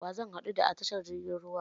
Wa zan haɗo da a tashar jirgin ruwan?